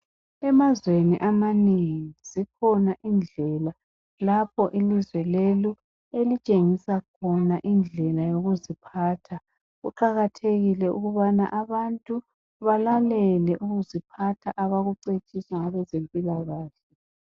Emazweni amanengi zikhona indlela lapho ilizwe lelo elitshengisa khona indlela yokuziphatha. Kuqakathekile ukuthi abantu balalele, ukuziphatha, abakucetshiswa ngabezempilakahle.